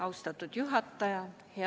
Austatud juhataja!